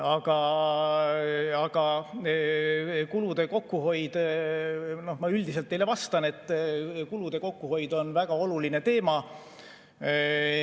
Aga kulude kokkuhoid – ma vastan teile üldiselt, et kulude kokkuhoid on väga oluline teema.